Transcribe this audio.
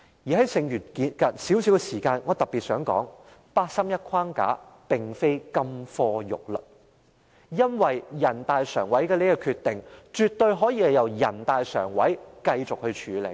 在剩餘的少許時間內，我特別想說，八三一框架並非金科玉律，因為人大常委會的決定絕對可以由人大常委會繼續處理。